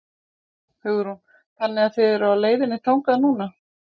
Hugrún: Þannig eruð þið á leiðinni þangað núna?